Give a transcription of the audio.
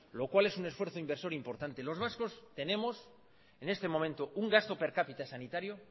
lo cual es un esfuerzo inversor importante los vascos tenemos en este momento un gasto per cápita sanitario